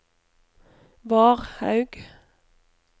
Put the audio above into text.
Varhaug